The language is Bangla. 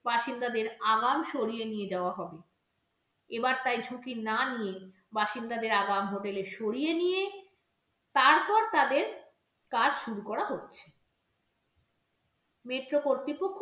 বাসিন্দাদের আগাম সরিয়ে নিয়ে যাওয়া হবে এবার তাই ঝুঁকি না নিয়ে বাসিন্দাদের আগাম hotel এ সরিয়ে নিয়ে তারপর তাদের কাজ শুরু করা হচ্ছে metro কর্তৃপক্ষ